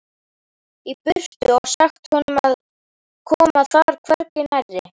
í burtu og sagt honum að koma þar hvergi nærri.